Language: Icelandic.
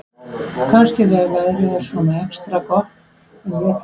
Jóhanna: Kannski þegar veðrið er svona extra gott?